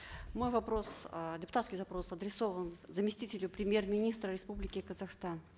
мой вопрос э депутатский запрос адресован заместителю премьер министра республики казахстан